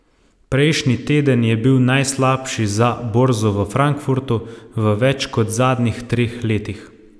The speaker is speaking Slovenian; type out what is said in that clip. Prejšnji teden je bil najslabši za borzo v Frankfurtu v več kot zadnjih treh letih.